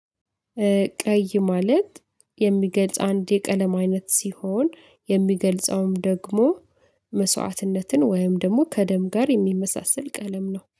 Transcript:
ቀይ ማለት የሚገልጽ አንድ የቀለም አይነት ሲሆን፣ የሚገልጸውም ደግሞ መስዋዕትነትን ወይም ደግሞ ከደም ጋር የሚመሳሰል ቀለም ነው።